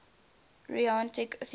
rhetoric theorists